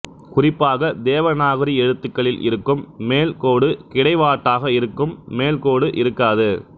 குறிப்பாக தேவநாகரி எழுத்துகளில் இருக்கும் மேல் கோடு கிடைவாட்டாக இருக்கும் மேல்கோடு இருக்காது